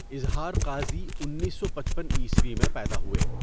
اظہارقاضی ۱۹۵۵ء میں پیدا ہوۓ.